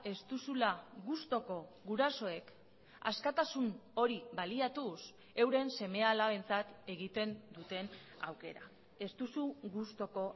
ez duzula gustuko gurasoek askatasun hori baliatuz euren seme alabentzat egiten duten aukera ez duzu gustuko